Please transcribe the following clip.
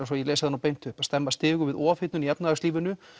svo ég lesi það beint upp stemma stigu við ofhitnun í efnahagslífinu